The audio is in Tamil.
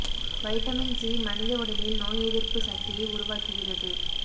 வைட்டமின் சி மனித உடலில் நோய் எதிர்ப்பு சக்தியை உருவாக்குகிறது